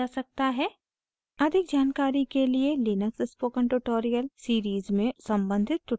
अधिक जानकारी के लिए लिनक्स spoken tutorial series में सम्बंधित tutorial को देखें